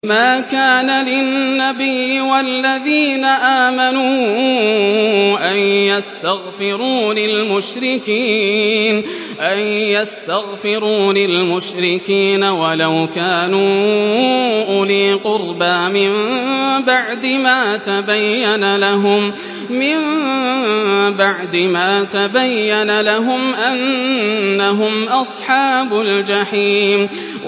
مَا كَانَ لِلنَّبِيِّ وَالَّذِينَ آمَنُوا أَن يَسْتَغْفِرُوا لِلْمُشْرِكِينَ وَلَوْ كَانُوا أُولِي قُرْبَىٰ مِن بَعْدِ مَا تَبَيَّنَ لَهُمْ أَنَّهُمْ أَصْحَابُ الْجَحِيمِ